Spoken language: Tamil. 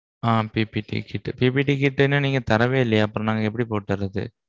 ஆஹ் PPTkit. PPT kit இன்னும் நீங்க தரவே இல்லியே அப்போ நாங்க எப்பிடி போட்டு வர்றது?